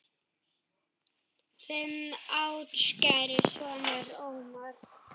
Þinn ástkæri sonur, Ómar.